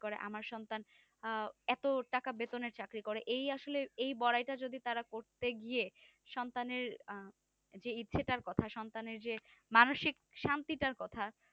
করে আমার সন্তান এত টাকা বেতনের চাকরি করে এই আসলে এই বড়াই টা যদি তারা করতেই গিয়ে সন্তানের যে ইচ্ছাটার কথা সন্তানের যে মানুষিক শান্তি টার কথা